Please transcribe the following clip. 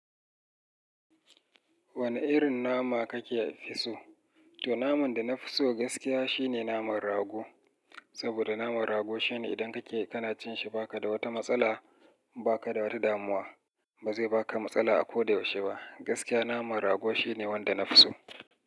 Wane irin nama kake fi so? To naman da na fi so gaskiya shine naman rago. Saboda naman rago shine idan kake kana cin shi ba ka da wata matsala, ba ka da wata damuwa. Ba zai baka matsala a ko da yaushe ba. Gaskiya naman rago shine wanda na fi so.